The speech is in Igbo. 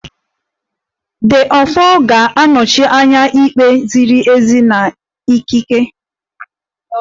The Ofo ga-anọchi anya ikpe ziri ezi na ikike